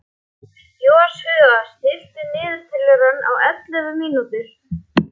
Joshua, stilltu niðurteljara á ellefu mínútur.